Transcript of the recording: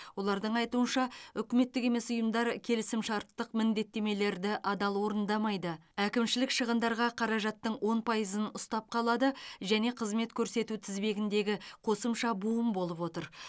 олардың айтуынша үкіметтік емес ұйымдар келісімшарттық міндеттемелерді адал орындамайды әкімшілік шығындарға қаражаттың он пайызын ұстап қалады және қызмет көрсету тізбегіндегі қосымша буын болып отыр